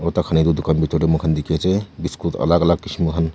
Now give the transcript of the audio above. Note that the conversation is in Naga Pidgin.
aru taikhan etu dukan bitor te moikhan dikhi ase biscuit alak alak kishim khan.